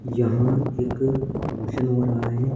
यहाँ एक फंक्शन हो रहा है।